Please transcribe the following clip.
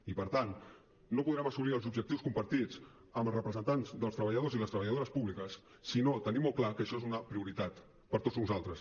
i per tant no podrem assolir els objectius compartits amb els representants dels treballadors i les treballadores públiques si no tenim molt clar que això és una prioritat per a tots nosaltres